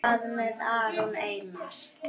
Hvað með Aron Einar?